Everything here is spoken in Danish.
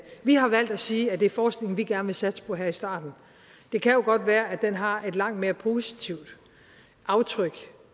vi har valgt at sige at det er forskning vi gerne vil satse på her i starten det kan jo godt være at den har et langt mere positivt aftryk